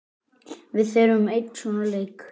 Við þurfum einn svona leik.